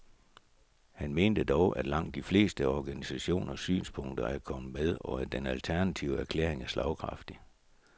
Han mente dog, at langt de fleste organisationers synspunkter er kommet med, og at den alternative erklæring er slagkraftig.